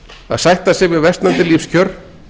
að sætta sig við versnandi lífskjör